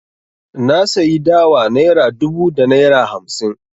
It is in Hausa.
Na sayi dawa naira dubu da naira hamsi.